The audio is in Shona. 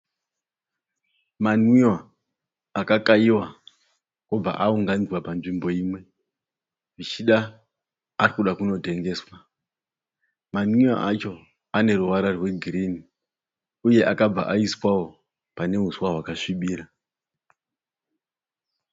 Manwiwa akakayiwa obva aunganidzwa panzvimbo imwe. Zvichida arikuda kunotengeswa. Manwiwa acho aneruvara rwegirini uye akabva aiswawo panehuswa hwakasvibira.